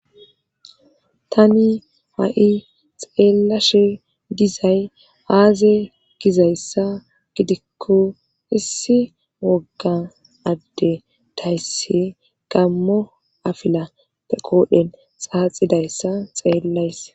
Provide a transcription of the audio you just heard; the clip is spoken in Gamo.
tani ha7i xeellashe gizay aaze gizayssa gidikko issi wogga adde dayse gammo afila pe qoodhen saaxidayssa xeellays